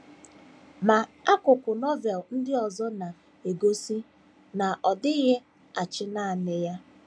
Ma, akụkụ Novel ndị ọzọ na - egosi na ọ dịghị achị nanị ya.